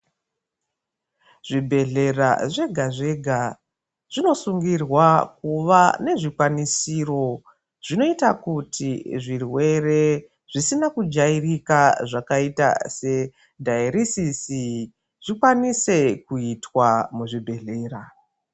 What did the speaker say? Zvibhedhlera zvega zvega zvinosungirwa kuva nezvikwanisiro zvinoita kuti zvirwere zvisina kujairaka zvakaita sedhayirisisi zvikwanise kuitwa muzvibhedhera.